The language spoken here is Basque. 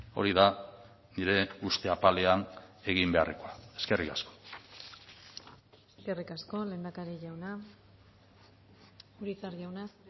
hori da nire uste apalean egin beharrekoa eskerrik asko eskerrik asko lehendakari jauna urizar jauna